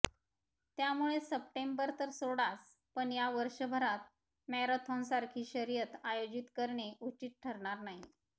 त्यामुळे सप्टेंबर तर सोडाच पण या वर्षभरात मॅरेथॉनसारखी शर्यत आयोजित करणे उचित ठरणर नाही